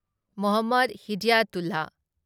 Mohammad Hidayatullah